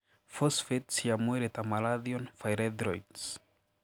Phosphates cia mwĩrĩ ta malathion phyrethroids